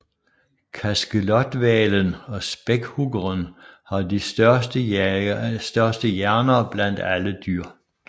Kaskelothvalen og spækhuggeren har de største hjerner blandt alle dyr